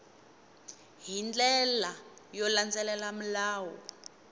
hi ndlela yo landzelela milawu